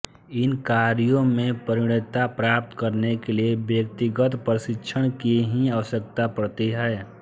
इन कार्यों में प्रवीणता प्राप्त करने के लिये व्यक्तिगत प्रशिक्षण की ही आवश्यकता पड़ती है